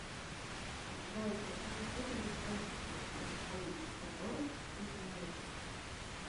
джой какие виды никольский морской собор ты знаешь